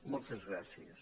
moltes gràcies